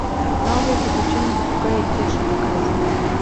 новые приключения попугая кеши показывай